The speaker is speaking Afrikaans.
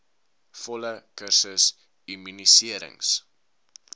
volle kursus immuniserings